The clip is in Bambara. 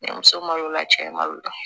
Denmuso malola cɛ ma y'o la